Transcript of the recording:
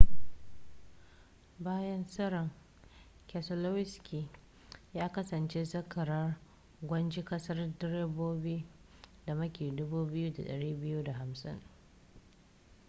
bayan tseren keselowski ya kasance zakarar gwajin gasar direbobi da maki 2,250